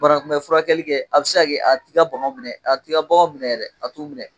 Banakunbɛ furakɛli kɛ, a bɛ se ka kɛ a t'i ka baganw minɛ, a t'i ka baganw minɛ yɛrɛ, a t'u minɛ.